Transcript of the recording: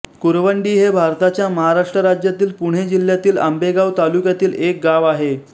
कुरवंडी हे भारताच्या महाराष्ट्र राज्यातील पुणे जिल्ह्यातील आंबेगाव तालुक्यातील एक गाव आहे